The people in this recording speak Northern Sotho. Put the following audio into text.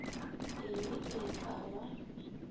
e le ee ke ba